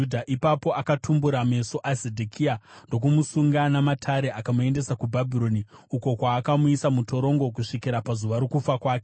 Ipapo akatumbura meso aZedhekia ndokumusunga namatare akamuendesa kuBhabhironi, uko kwaakamuisa mutorongo kusvikira pazuva rokufa kwake.